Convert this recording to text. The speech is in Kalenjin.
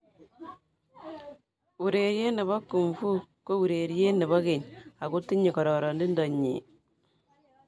Urerie ne bo Kung Fu ko urerie ne bo keny ako tinyei kororintonyii.